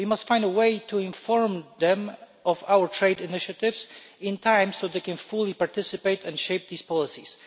We must find a way to inform them of our trade initiatives in time so they can fully participate and shape these policies.